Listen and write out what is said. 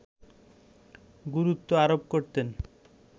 গুরুত্ব আরোপ করতেন